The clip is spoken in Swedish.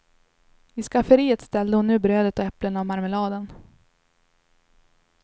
I skafferiet ställde hon nu brödet och äpplena och marmeladen.